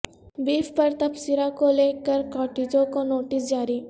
beef پر تبصرہ کو لے کر کاٹجو کو نوٹس جاری